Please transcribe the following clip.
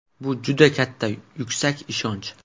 Bu juda katta, yuksak ishonch.